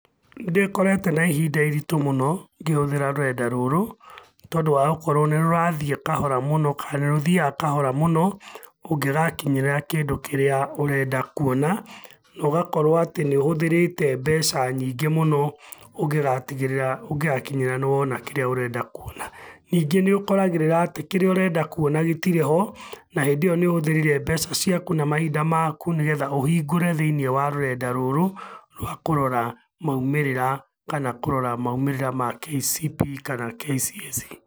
Nĩndĩkorĩte na ihinda iritũ mũno, ngĩhũthĩra rũrenda rũrũ, nĩtondũ wa gũkorwo nĩrũrathiĩ kahora mũno, kana nĩrũthiaga kahora mũno, ũngĩgakinyĩrĩra kĩndũ kĩrĩa ũrenda kuona, na ũgakorwo atĩ nĩũhũthĩrĩte mbeca nyingĩ mũno, ũngĩgatigĩrĩra ũngĩgakinyĩrĩra nĩ wona kĩrĩa ũrenda kuona. Ningĩ nĩũkoragĩrĩra atĩ kĩrĩa ũrenda kuona gĩtirĩ ho, na hĩndĩ ĩyo nĩũhũthĩrire mbeca ciaku na mahinda maku nĩgetha ũhingũre thĩiniĩ wa rũrenda rũrũ, rwa kũrora maumĩrĩra kana kũrora maumĩrĩra ma KCPE kana KCSE.